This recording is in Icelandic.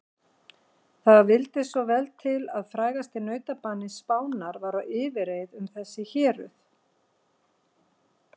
Það vildi svo vel til að frægasti nautabani Spánar var á yfirreið um þessi héruð.